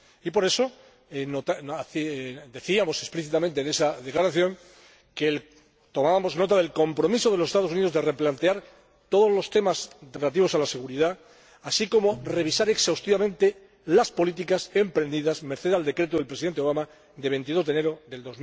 Y por eso decíamos explícitamente en esa declaración que tomábamos nota del compromiso de los Estados Unidos de replantear todos los temas relativos a la seguridad, así como de revisar exhaustivamente las políticas emprendidas merced al Decreto del Presidente Obama de 22 de enero